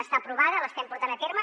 està aprovada l’estem portant a terme